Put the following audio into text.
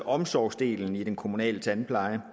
omsorgsdelen i den kommunale tandpleje